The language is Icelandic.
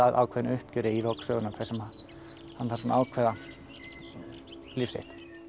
ákveðnu uppgjöri í lok sögunnar þar sem hann þarf að ákveða líf sitt